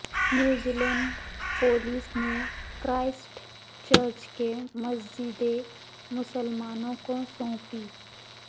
New Zealand police نے Christchurch کی مسجدیں مسلمانوں کو سونپی